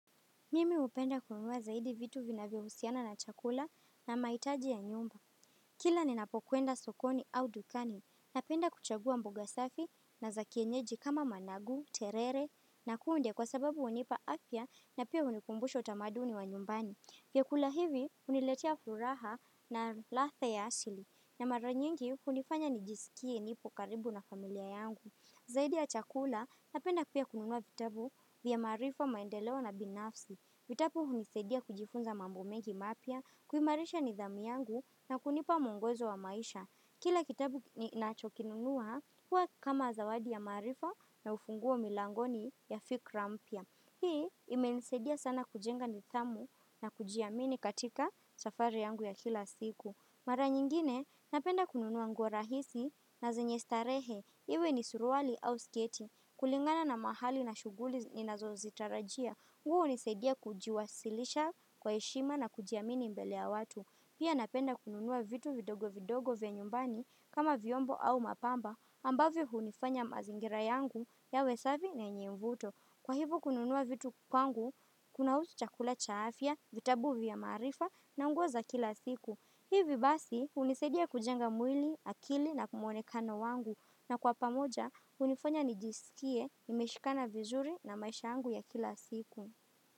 Mimi hupenda kununua zaidi vitu vinavyohusiana na chakula na mahitaji ya nyumba. Kila ninapokwenda sokoni au dukani, napenda kuchagua mboga safi na za kienyeji kama managu, terere, na kunde kwa sababu hunipa afya na pia hunikumbusha utamaduni wa nyumbani. Vyakula hivi huniletea furaha na ladha ya asili na mara nyingi hunifanya nijisikie nipo karibu na familia yangu. Zaidi ya chakula, napenda pia kununua vitabu vya maarifa, maendeleo, na binafsi. Vitabu hunisaidia kujifunza mambo mengi mapya, kuimarisha nidhamu yangu, na kunipa mwongozo wa maisha. Kila kitabu ninachokinunua huwa kama zawadi ya maarifa na ufunguo milangoni ya fikra mpya. Hii imenisaidia sana kujenga nidhamu na kujiamini katika safari yangu ya kila siku. Mara nyingine, napenda kununua nguo rahisi na zenye starehe. Iwe ni suruali au sketi. Kulingana na mahali na shughuli ninazozitarajia. Nguo hunisaidia kujiwasilisha kwa heshima na kujiamini mbele ya watu. Pia napenda kununua vitu vidogo vidogo vya nyumbani kama vyombo au mapambo ambavyo hunifanya mazingira yangu yawe safi na yenye mvuto. Kwa hivyo kununua vitu kwangu kunahusu chakula cha afya, vitabu vya maarifa, na nguo za kila siku. Hivi basi, hunisaidia kujenga mwili, akili, na mwonekano wangu. Na kwa pamoja, hunifanya nijisikie imeshikana vizuri na maisha yangu ya kila siku.